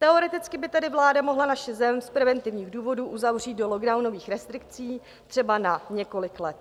Teoreticky by tedy vláda mohla naši zem z preventivních důvodů uzavřít do lockdownových restrikcí třeba na několik let.